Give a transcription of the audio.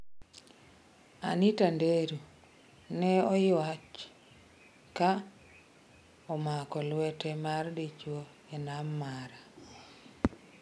Anita Nderu: Ne aywach ka omako lwete mar dichwo e nam mara